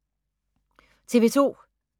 TV 2